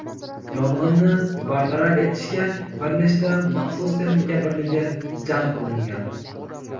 Yong‘inni bartaraf etishga bir nechta maxsus texnika birligi jalb qilingan.